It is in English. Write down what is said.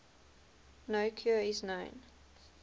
no cure is known